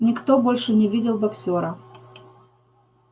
никто больше не видел боксёра